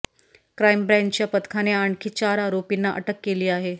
crime ब्रँचच्या पथकाने आणखी चार आरोपींना अटक केली आहे